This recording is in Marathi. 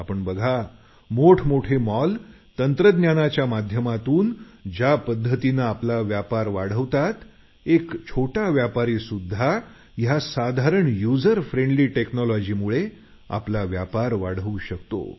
आपण बघा मोठमोठे मॉल तंत्रज्ञानाच्या माध्यमातून ज्या पद्धतीने आपला व्यापार वाढवतात एक छोटा व्यापारीसुध्दा या साधारण युजर फ्रेंडली टेक्नॉलॉजीमुळे आपला व्यापार वाढवू शकतो